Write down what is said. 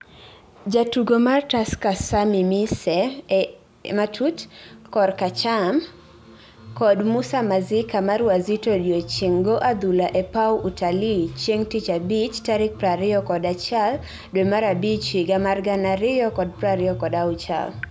jatugo mar Tusker Sammy Miseh (kor ka acham ) kod Musa Masika mar Wazito odiochieng go adhula e paw Utalii chieng tich abich tarik prariyo kod achiel dwe mar abich higa mar gana ariyo kod prariyo kod achiel